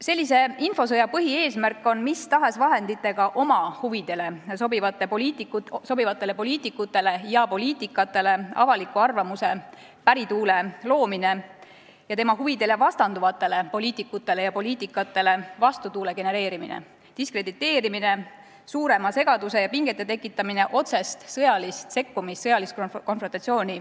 Sellise infosõja põhieesmärk on mis tahes vahenditega oma huvidega sobivatele poliitikutele ja poliitikatele avaliku arvamuse pärituule loomine ja oma huvidele vastanduvatele poliitikutele ja poliitikatele vastutuule genereerimine, diskrediteerimine, suurema segaduse ja pingete tekitamine, vältides otsest sõjalist sekkumist, sõjalist konfrontatsiooni.